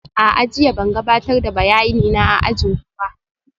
A'a, jiya ban gabatar da bayanina a ajin ku ba